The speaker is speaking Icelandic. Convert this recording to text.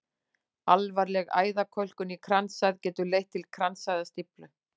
Alvarleg æðakölkun í kransæð getur leitt til kransæðastíflu.